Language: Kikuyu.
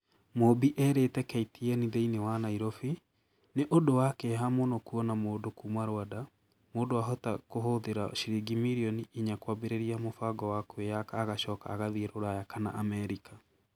Mumbi erĩte KTN thĩinĩ wa Nairofi . "Nĩ ũndũ wa kĩeha mũno kuona mũndũ kuuma Rwanda, mũndũ ahota kũhũthĩra ciringi mirioni inya kwambĩrĩria mũbango wa kwĩyaka agacoka agathiĩ Rũraya kana Amerika.",